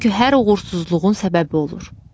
Çünki hər uğursuzluğun səbəbi olur.